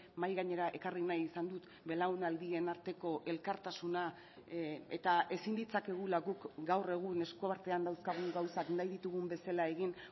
mahai gainera ekarri nahi izan dut belaunaldien arteko elkartasuna eta ezin ditzakegula guk gaur egun esku artean dauzkagun gauzak nahi ditugun bezala egin